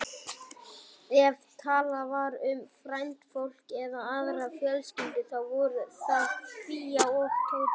Ef talað var um frændfólk eða aðrar fjölskyldur, þá voru það Fía og Tóti.